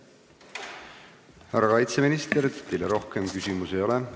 Härra kaitseminister, teile rohkem küsimusi ei ole.